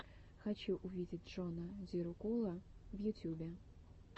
хочу увидеть джона зирокула в ютюбе